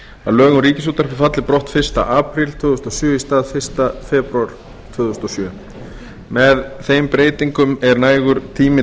að lög um ríkisútvarpið falli brott fyrsta apríl tvö þúsund og sjö í stað fyrsta febrúar tvö þúsund og sjö með þeim breytingum er nægur tími